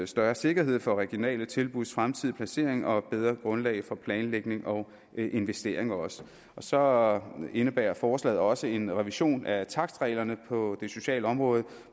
større sikkerhed for regionale tilbuds fremtidige placering og bedre grundlag for planlægning og investeringer også så indebærer forslaget også en revision af takstreglerne på det sociale område